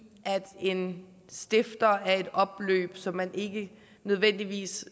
at en stifter af et opløb som man ikke nødvendigvis